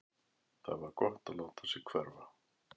Það var gott að láta sig hverfa.